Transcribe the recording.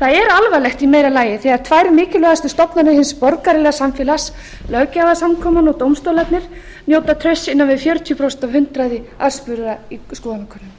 það er alvarlegt í meira lagi þegar tvær mikilvægustu stofnanir hins borgaralega samfélags löggjafarsamkoman og dómstólarnir njóta trausts innan við fjörutíu af hundraði aðspurðra í skoðanakönnunum við lifum